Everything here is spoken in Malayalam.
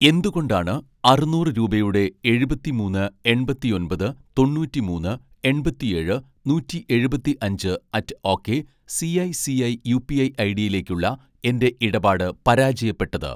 എന്തുകൊണ്ടാണ് അറുന്നൂറ് രൂപയുടെ എഴുപത്തിമൂന്ന് എണ്‍പത്തിയൊന്‍പത് തൊണ്ണൂറ്റിമൂന്ന് എണ്‍പത്തിയേഴ് നൂറ്റിയെഴുപത്തി അഞ്ച് at okay CI CI UPI ഐഡിയിലേക്കുള്ള എൻ്റെ ഇടപാട് പരാജയപ്പെട്ടത്